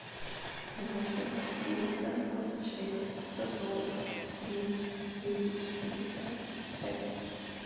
восемь четыреста двадцать шесть сто сорок три десять пятьдесят пять